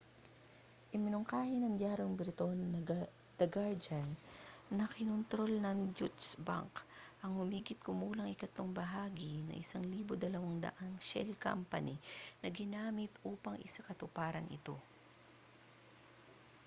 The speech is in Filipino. iminungkahi ng diyaryong briton na the guardian na kinontrol ng deutsche bank ang humigit-kumulang ikatlong bahagi ng 1200 shell company na ginamit upang isakatuparan ito